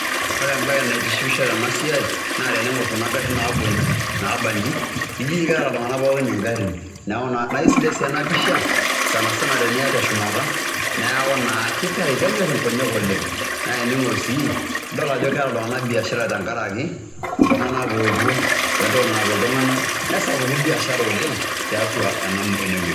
Ore embae naitishipisho tena siai naa tening'or kuna garin nabuo nji naaba nji eji keeta iltung'anak pokin ing'arin. Neeku naa aisidai sii ena pisha sana sana teniya teshumata, neeku naa kitau kenyor nkonyek oleng'. Naa ening'or sii nidol ajo keeta iltung'anak biashara tenkaraki iltung'anak oopuo, we entoki nanap iltung'anak, nesapuku biashara oleng' tiatua ene wueji.